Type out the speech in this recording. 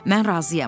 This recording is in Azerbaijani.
Mən razıyam.